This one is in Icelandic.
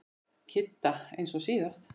Kidda eins og síðast.